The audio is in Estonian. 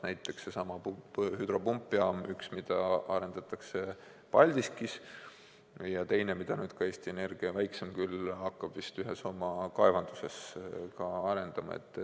Näiteks seesama hüdropumpjaam – üks, mida arendatakse Paldiskis, ja teine, küll väiksem, mida hakkab Eesti Energia ühes oma kaevanduses arendama.